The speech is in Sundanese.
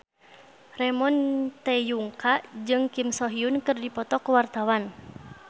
Ramon T. Yungka jeung Kim So Hyun keur dipoto ku wartawan